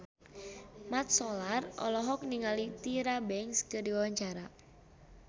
Mat Solar olohok ningali Tyra Banks keur diwawancara